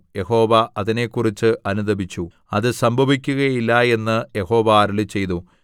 യഹോവ അതിനെക്കുറിച്ച് അനുതപിച്ചു അത് സംഭവിക്കുകയില്ല എന്ന് യഹോവ അരുളിച്ചെയ്തു